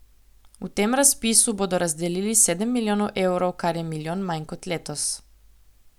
V tem razpisu bodo razdelili sedem milijonov evrov, kar je milijon manj kot letos.